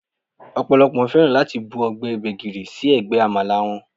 Ọ̀pọ̀lọ́pọ̀ fẹ́ràn láti bu ọbẹ̀ gbégìrì sí ẹ̀gbẹ́ Àmàlà wọn